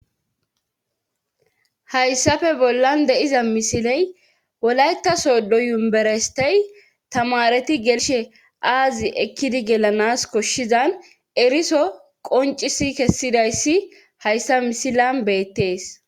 Hayssa bollan de'iza misiley wolayta sodo umberestey tamareti gelishshe aazi ekkidi gelanas koshshizan eriso qoncisi kessidayssi hayssa misilan beettees